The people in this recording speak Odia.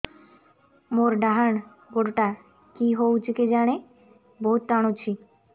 ମୋର୍ ଡାହାଣ୍ ଗୋଡ଼ଟା କି ହଉଚି କେଜାଣେ ବହୁତ୍ ଟାଣୁଛି